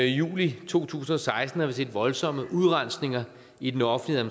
juli to tusind og seksten har vi set voldsomme udrensninger i den offentlige